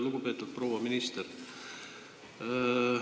Lugupeetud proua minister!